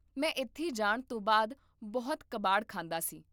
ਮੈਂ ਇੱਥੇ ਜਾਣ ਤੋਂ ਬਾਅਦ ਬਹੁਤ ਕਬਾੜ ਖਾਂਦਾ ਸੀ